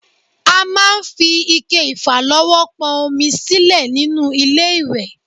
A máa ń fi ike ìfàlọ́wọ́ pọn omi sílẹ̀ nínú ilé-ìwẹ̀